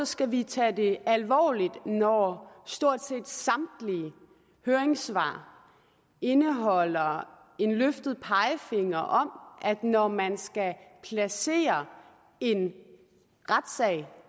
skal vi tage det alvorligt når stort set samtlige høringssvar indeholder en løftet pegefinger om at når man skal placere en retssag